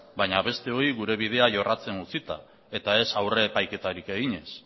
baina besteoi gure bidea jorratzen utzita eta ez aurre epaiketarik eginez